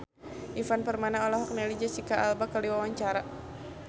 Ivan Permana olohok ningali Jesicca Alba keur diwawancara